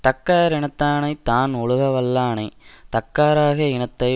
தக்கார் இனத்தானய்த் தான் ஒழுக வல்லானை தக்காராக இனத்தை